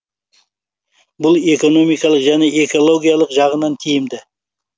бұл экономикалық және экологиялық жағынан тиімді